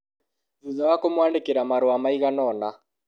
Thutha wa kũmũandĩkira marũa maiganona